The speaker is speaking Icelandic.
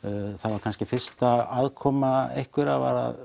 það var kannski fyrsta aðkoma einhverra að